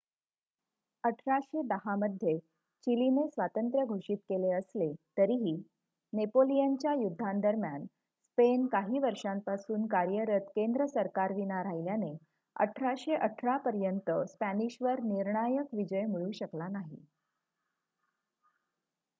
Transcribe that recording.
1810 मध्ये चिलीने स्वातंत्र्य घोषित केले असले तरीही नेपोलियनच्या युद्धांदरम्यान स्पेन काही वर्षांपासून कार्यरत केंद्र सरकारविना राहिल्याने 1818 पर्यंत स्पॅनिशवर निर्णायक विजय मिळू शकला नाही